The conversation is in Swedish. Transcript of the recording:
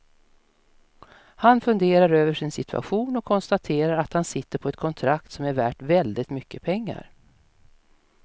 Han funderar över sin situation och konstaterar att han sitter på ett kontrakt som är värt väldigt mycket pengar.